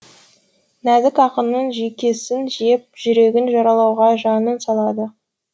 нәзік ақынның жүйкесін жеп жүрегін жаралауға жанын салады